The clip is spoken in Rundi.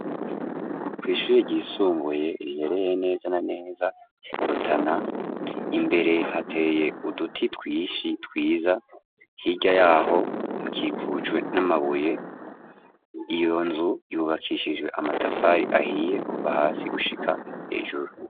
Kw' ishure ryisumbuye riherereye neza na neza mu rutana imbere hateye uduti twinshi twiza hirya yaho hakikujwe n'amabuye iyo nzu yubakishijwe amatafari ahiye kuva hasi gushika hejuru.